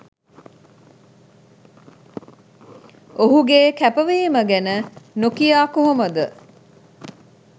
ඔහුගේ කැපවීම ගැන නොකියා කොහොමද?